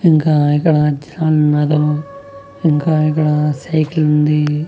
ఇంకా ఇక్కడ జనాలున్నారు ఇంకా ఇక్కడ సైకిల్ ఉందీ.